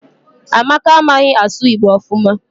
Amaka amaghi asu igbo ofuma